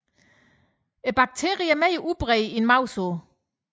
Dog er bakterien mere udbredt end mavesår